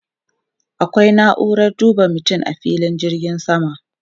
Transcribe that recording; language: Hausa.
Akwai na'uran duba mutum a filin jirgin sama.